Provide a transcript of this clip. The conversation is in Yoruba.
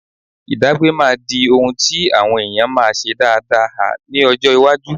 Ìdágbé máa di ohun tí àwọn èèyàn máa ṣe dáada ha ní ọjọ́ iwájú.